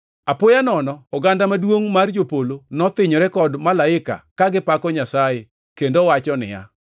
Apoya nono oganda maduongʼ mar jopolo nothinyore kod malaika ka gipako Nyasaye kendo wacho niya,